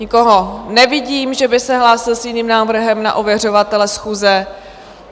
Nikoho nevidím, že by se hlásil s jiným návrhem na ověřovatele schůze.